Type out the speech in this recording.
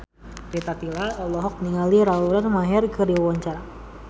Rita Tila olohok ningali Lauren Maher keur diwawancara